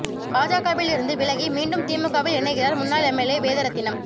பாஜகவில் இருந்து விலகி மீண்டும் திமுகவில் இணைகிறார் முன்னாள் எம்எல்ஏ வேதரத்தினம்